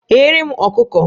Ghere m ọkụkọ!